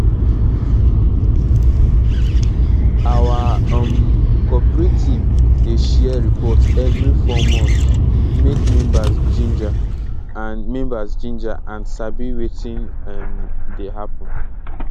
our um cooperative dey share report evri 4 months make members ginger and members ginger and sabi wetin um dey happen